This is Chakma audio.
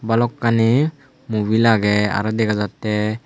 balokkani mubil agey araw dega jatte.